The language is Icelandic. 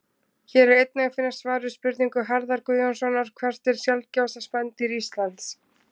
Hér er einnig að finna svar við spurningu Harðar Guðjónssonar Hvert er sjaldgæfasta spendýr Íslands?